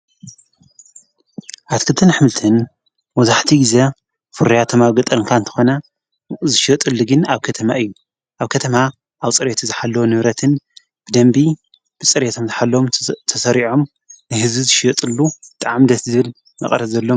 ኣቲ ክብተን ኣኅምልትን ወዙሕቲ ጊዜ ፍርያ ተማግ ጠርንካ እንተኾነ ዝሽጥልግን ኣብ ከተማ እዩ ኣብ ከተማ ኣብ ፀሬት ዝሓለ ንብረትን ብደንቢ ብጽሬቶም ዝሓሎም ተሠሪዖም ንሕዚ ዝሽየጥሉ ተዓም ደስ ዝብል መቐረ ዘሎም።